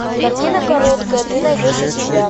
картина короткая ты найдешь у себя